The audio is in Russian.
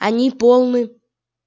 они полны